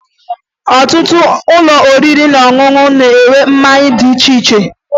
Ọtụtụ ụlọ oriri na ọṅụṅụ na-ere mmanya dị iche iche